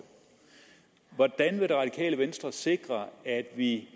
hvordan vil det radikale venstre sikre at vi